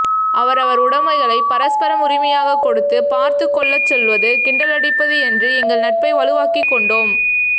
அவரவர் உடைமைகளை பரஸ்பரம் உரிமையாகக் கொடுத்து பார்த்துக் கொள்ளச் சொல்வது கிண்டலடிப்பது என்று எங்கள் நட்பை வலுவாக்கிக் கொண்டோம்